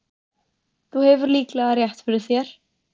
Þú hefur líklega rétt fyrir þér